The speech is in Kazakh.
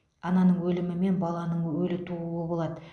ананың өлімі мен баланың өлі тууы болады